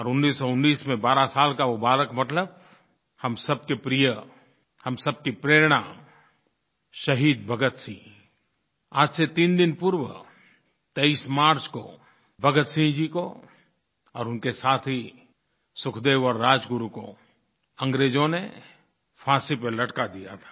और 1919 में 12 साल का वो बालक भगत हम सबके प्रिय हम सबकी प्रेरणा शहीद भगतसिंह आज से तीन दिन पूर्व 23 मार्च को भगतसिंह जी को और उनके साथी सुखदेव और राजगुरु को अंग्रेज़ों ने फांसी पर लटका दिया था